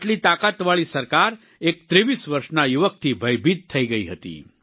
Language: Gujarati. આટલી તાકતવાળી સરકાર એક 23 વર્ષના યુવકથી ભયભીત થઈ ગઈ હતી